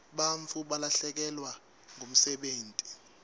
bantfu balahlekelwa ngumsebenti